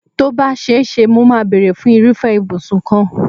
Tó bá ṣe é ṣe, mo máa bèrè fún irúfẹ́ ìbùsùn kan.